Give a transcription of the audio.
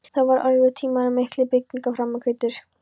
Þá voru erfiðir tímar en miklar byggingaframkvæmdir.